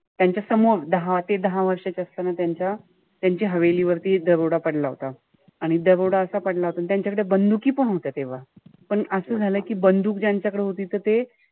त्यांच्यासमोर दहा ते दहा वर्षाचे असताना त्यांच्या त्यांची वरती दरोडा पडला होता. आणि दरोडा असा पडला होता अन त्यांच्याकडे बंदुकीपण होत्या तेव्हा. पण असं झालं कि बंदूक ज्यांच्याकडे होती त ते,